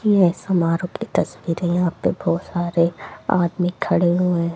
यह समारोह की तस्वीर है यहां पे बहोत सारे आदमी खड़े हुए--